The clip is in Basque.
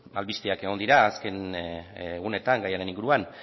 albisteak egon dira azken egunetan gaiaren inguruan